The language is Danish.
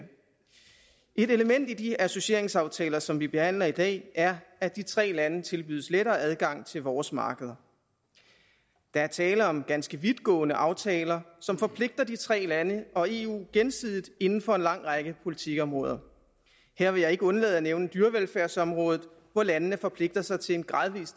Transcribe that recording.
et element i de associeringsaftaler som vi behandler i dag er at de tre lande tilbydes lettere adgang til vores markeder der er tale om ganske vidtgående aftaler som forpligter de tre lande og eu gensidigt inden for en lang række politikområder her vil jeg ikke undlade at nævne dyrevelfærdsområdet hvor landene forpligter sig til en gradvis